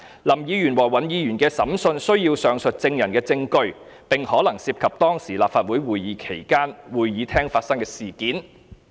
林議員和尹議員的審訊需要上述證人的證據，並可能涉及當時立法會會議期間會議廳發生的事件。